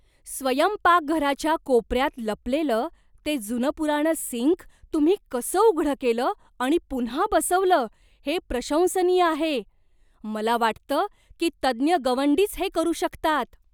स्वयंपाकघराच्या कोपऱ्यात लपलेलं ते जुनंपुराणं सिंक तुम्ही कसं उघडं केलं आणि पुन्हा बसवलं हे प्रशंसनीय आहे. मला वाटतं की तज्ज्ञ गवंडीच हे करू शकतात.